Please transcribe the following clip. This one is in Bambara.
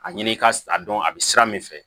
A ɲini ka a dɔn a bɛ sira min fɛ